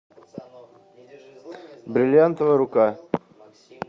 бриллиантовая рука